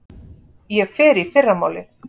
Hann er með frjótt ímyndunarafl.